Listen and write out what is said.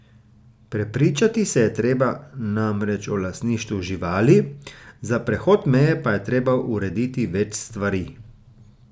Prepričati se je treba namreč o lastništvu živali, za prehod meje pa je treba urediti več stvari.